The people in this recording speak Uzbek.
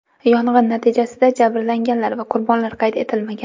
Yong‘in natijasida jabrlanganlar va qurbonlar qayd etilmagan.